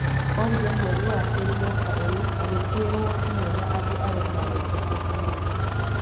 orire mweri wa kerĩ mwaka ũyũ, agĩkirwo hamwe na andũ aria magwetetwo kũnyitwo